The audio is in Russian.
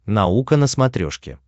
наука на смотрешке